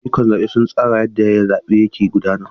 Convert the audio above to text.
Ayyukan zabe sun tsara yadda zaɓe ke gudana.